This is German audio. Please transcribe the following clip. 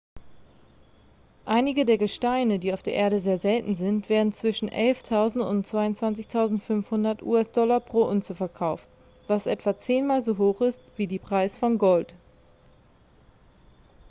einige der gesteine die auf der erde sehr selten sind werden zwischen 11.000 und 22.500 us-dollar pro unze verkauft was etwa zehnmal so hoch ist wie die preis von gold